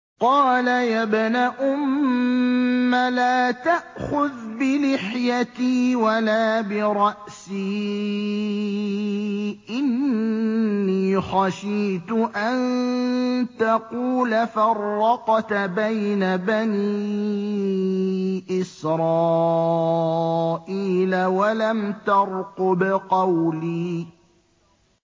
قَالَ يَا ابْنَ أُمَّ لَا تَأْخُذْ بِلِحْيَتِي وَلَا بِرَأْسِي ۖ إِنِّي خَشِيتُ أَن تَقُولَ فَرَّقْتَ بَيْنَ بَنِي إِسْرَائِيلَ وَلَمْ تَرْقُبْ قَوْلِي